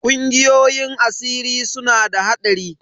Ƙungiyoyin asiri suna da haɗari.